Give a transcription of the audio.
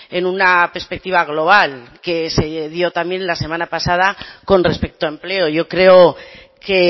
en una perspectiva global que se dio también la semana pasada con respecto a empleo yo creo que